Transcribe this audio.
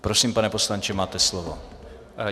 Prosím, pane poslanče, máte slovo.